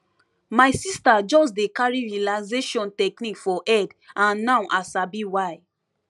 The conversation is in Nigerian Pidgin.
my sister just dey carry relaxation technique for head and now i sabi why